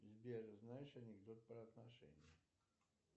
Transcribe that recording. сбер знаешь анекдот про отношения